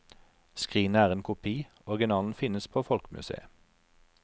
Skrinet er en kopi, originalen finnes på folkemuseet.